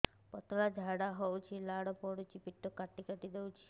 ପତଳା ଝାଡା ହଉଛି ଲାଳ ପଡୁଛି ପେଟ କାଟି କାଟି ଦଉଚି